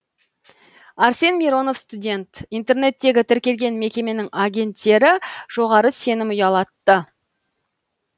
арсен миронов студент интернеттегі тіркелген мекеменің агенттері жоғары сенім ұялатты